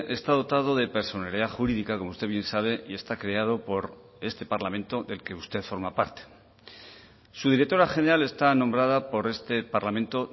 está dotado de personalidad jurídica como usted bien sabe y está creado por este parlamento del que usted forma parte su directora general está nombrada por este parlamento